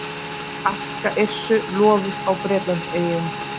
Aska Yrsu lofuð á Bretlandseyjum